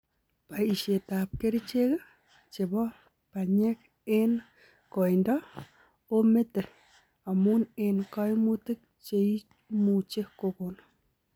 Paishet ap kerichek chepo panyeng eng koindoo ometee amuu eng kaimutik cheimuchii kokon.